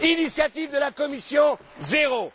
Initiative de la Commission zéro!